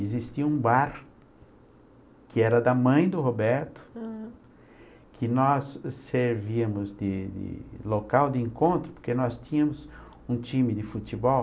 Existia um bar, que era da mãe do Roberto, hm, que nós servíamos de local de encontro, porque nós tínhamos um time de futebol,